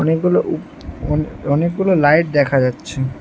অনেকগুলো উপ-অনে-অনেকগুলো লাইট দেখা যাচ্ছে।